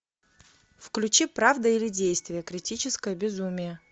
включи правда или действие критическое безумие